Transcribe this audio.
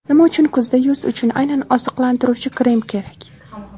Nima uchun kuzda yuz uchun aynan oziqlantiruvchi krem kerak?